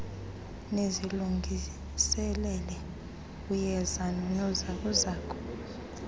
nizilungiselele uyeza noonozakuzaku